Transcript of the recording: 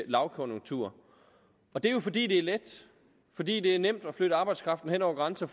lavkonjunktur og det er jo fordi det er let fordi det er nemt at flytte arbejdskraften hen over grænser